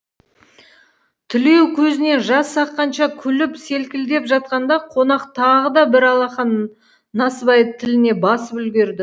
тілеу көзінен жас аққанша күліп селкілдеп жатқанда қонақ тағы да бір алақан насыбайды тіліне басып үлгерді